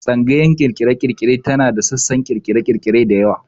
Tsangayar ƙirƙire-ƙirƙire tana da sassan ƙirƙire-ƙirƙire da yawa.